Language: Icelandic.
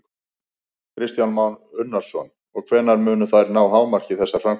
Kristján Már Unnarsson: Og hvenær munu þær ná hámarki, þessar framkvæmdir?